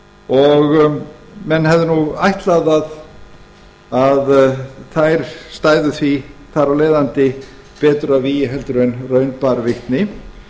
og menn hefðu nú ætlað að þær stæðu því þar af leiðandi betur að vígi en raun bar vitni